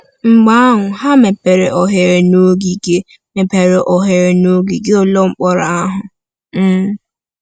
Mgbe ahụ ha mepere oghere n’ogige mepere oghere n’ogige ụlọ mkpọrọ ahụ. um